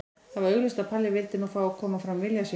Það var augljóst að Palli vildi nú fá að koma fram vilja sínum.